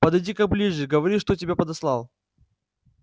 подойди-ка ближе говори что тебя подослал